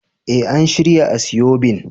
Eh, an shirya asoebin.